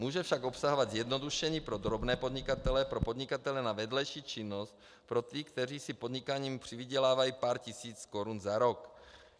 Může však obsahovat zjednodušení pro drobné podnikatele, pro podnikatele na vedlejší činnost, pro ty, kteří si podnikáním přivydělávají pár tisíc korun za rok.